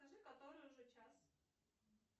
скажи который уже час